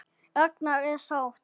Ragna er sátt.